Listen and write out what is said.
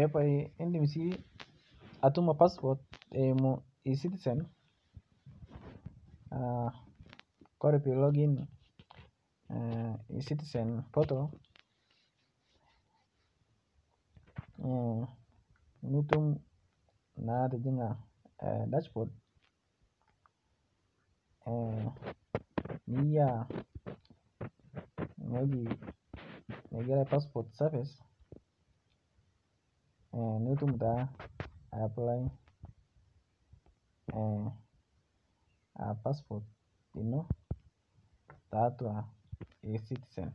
Epae indim si atumo passport eimu ecitisen Kore pilogin ecitizen portal nitum naa atijing'a dashbod niyia ng'oji neig'ero dashbod safes nitum taa aplae paspot ino tatua ecitizen